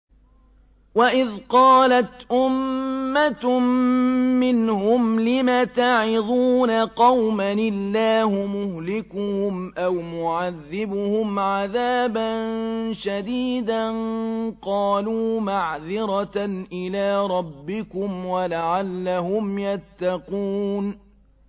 وَإِذْ قَالَتْ أُمَّةٌ مِّنْهُمْ لِمَ تَعِظُونَ قَوْمًا ۙ اللَّهُ مُهْلِكُهُمْ أَوْ مُعَذِّبُهُمْ عَذَابًا شَدِيدًا ۖ قَالُوا مَعْذِرَةً إِلَىٰ رَبِّكُمْ وَلَعَلَّهُمْ يَتَّقُونَ